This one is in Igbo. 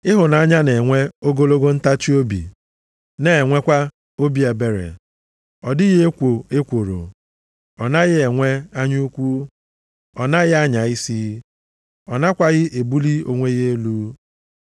Ịhụnanya na-enwe ogologo ntachiobi, na-enwekwa obi ebere. Ọ dịghị ekwo ekworo, ọ naghị enwe anya ukwu, ọ naghị anya isi. Ọ nakwaghị ebuli onwe ya elu.